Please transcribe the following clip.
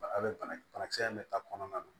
banakisɛ in bɛ ta kɔnɔna na